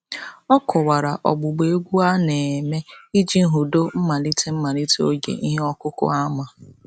Ọ kọwara ọgbụgba egwu a na-eme iji hudo mmalite mmalite oge ihe ọkụkụ ama.